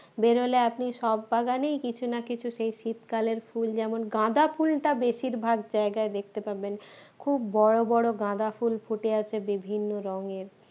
বেরোলে আপনি সব বাগানেই কিছু না কিছু সেই শীতকালের ফুল যেমন গাঁদা ফুলটা বেশিরভাগ জায়গায় দেখতে পাবেন খুব বড় বড় গাঁদা ফুল ফুটে আছে বিভিন্ন রঙের